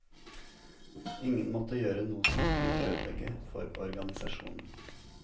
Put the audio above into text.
Ingen måtte gjøre noe som kunne ødelegge for organisasjonen.